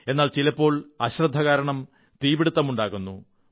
എന്നാൽ ചിലപ്പോൾ അശ്രദ്ധ കാരണം തീപിടുത്തമുണ്ടാകുന്നു